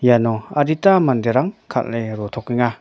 iano adita manderang kal·e ratokenga.